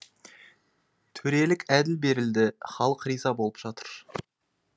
төрелік әділ берілді халық риза болып жатыр